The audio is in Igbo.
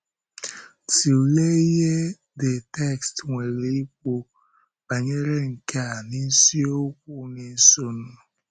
Tụlee ihe the text nwere ikwu banyere nke a n’isiokwu na-esonụ.